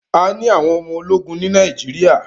A ní àwọn ọmọ ológun ní Nàíjíríà.